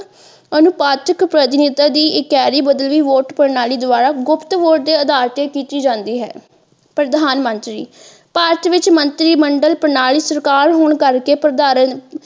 ਅਨੁਪਾਥਿਕ ਪ੍ਰਤੀਨਿਧਤਾ ਦੀ ਇੱਕ ਕੇਰੀ ਬਦਲੀ ਵੋਟ ਪ੍ਰਣਾਲੀ ਦੁਆਰਾ ਗੁਪਤ ਵੋਟ ਦੇ ਅਧਾਰ ਤੇ ਕੀਤੀ ਜਾਂਦੀ ਹੈ ਪ੍ਰਧਾਨਮੰਤਰੀ ਭਾਰਤ ਵਿੱਚ ਮੰਤਰੀ ਮੰਡਲ ਪ੍ਰਣਾਲੀ ਸਰਕਾਰ ਹੋਣ ਕਰਕੇ .